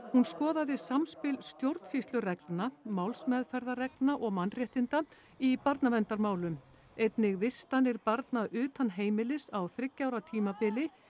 hún skoðaði samspil stjórnsýslureglna málsmeðferðarreglna og mannréttinda í barnaverndarmálum einnig vistanir barna utan heimilis á þriggja ára tímabili